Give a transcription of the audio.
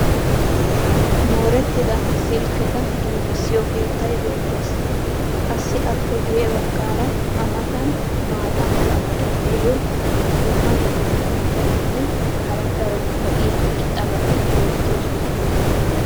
moorettida silkketa giigisiyo keettay beetees. qassi appe guye bagaara a matan maata mala meray diyo dumma dumma mitatinne hara daro lo'iya irxxabati beetoosona.